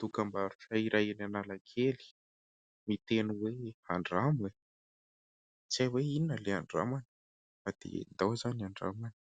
Dokam-barotra iray eny Analakely miteny hoe "Andramo e ". Tsy hay hoe inona ilay andramana fa dia andao izany andramana.